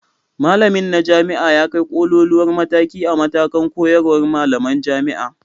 Malamina na jami'a ya kai ƙoƙoluwar mataki a matakan koyarwar malaman jami'a.